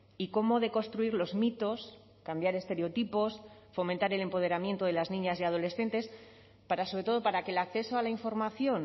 y cómo deconstruir los mitos cambiar estereotipos fomentar el empoderamiento de las niñas y adolescentes para sobre todo para que el acceso a la información